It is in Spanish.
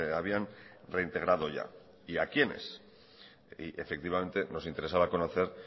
habían reintegrado ya y a quiénes y efectivamente nos interesaba conocer